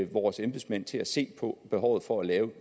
vores embedsmænd til at se på behovet for at